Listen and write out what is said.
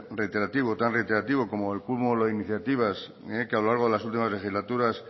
reiterativo tan reiterativo como el cúmulo de iniciativas que a lo largo de las últimas legislaturas